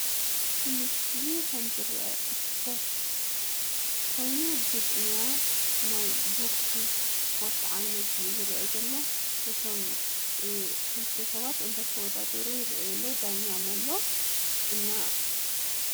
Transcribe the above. ብምስሊ ኸም ዝረአ እስፖርት ኮይኑ ግጥምያ ናይ ቦግሲ እስፖርት ዓይነት እዩ ዝረአ ዘሎ፡፡ እቶም ክልተ ሰባት እናተወዳደሩ ይረአ ኣሎ ዳኛም ኣሎ፡፡ እና